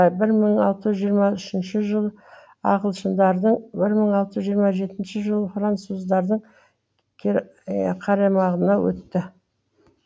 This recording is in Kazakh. бір мың алты жүз жиырма үшінші жылы ағылшындардың бір мың алты жүз жиыма жетінші жылы француздардың қарамағына өтті